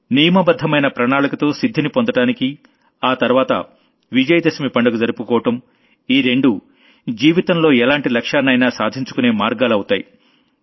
నియమబద్ధమైన ప్రణాళికతో సిద్ధిని పొందడానికి ఆ తర్వాత విజయదశమి పండుగ జరుపుకోవడం ఈ రెండూ జీవితంలో ఎలాంటి లక్ష్యాన్నైనా సాధించుకునే మార్గాలు అవుతాయి